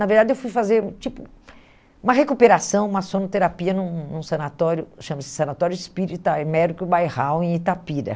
Na verdade, eu fui fazer tipo uma recuperação, uma sonoterapia num num sanatório, que chama-se Sanatório Espírita Emérico Bairral, em Itapira.